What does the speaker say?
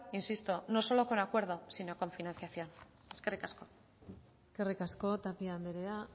insisto no solo con acuerdo sino con financiación eskerrik asko eskerrik asko tapia andrea